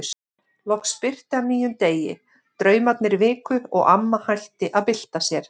Loks birti af nýjum degi, draumarnir viku og amma hætti að bylta sér.